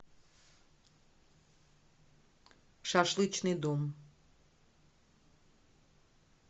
шашлычный дом